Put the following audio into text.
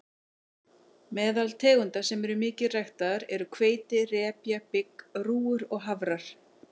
Meðal tegunda sem eru mikið ræktaðar eru hveiti, repja, bygg, rúgur og hafrar.